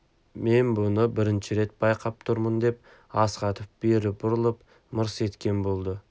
мен мұны бірінші рет байқап тұрмын деп астахов бері бұрылып мырс еткен болды